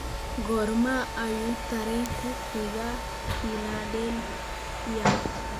Goorma ayuu tareenku ku xigaa philadelphia